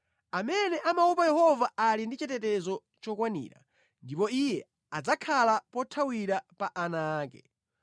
Amene amaopa Yehova ali ndi chitetezo chokwanira ndipo iye adzakhala pothawira pa ana ake.